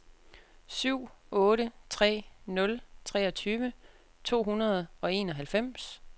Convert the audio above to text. syv otte tre nul treogtyve to hundrede og enoghalvfems